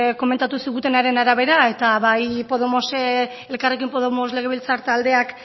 komentatu zigutenaren arabera eta bai elkarrekin podemos legebiltzar taldeak